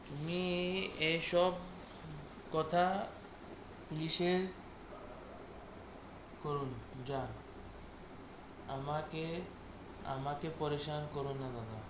তুমি এসব কথা নিষেধ করব যা আমাকে আমাকে পরি সান করো না দাদা,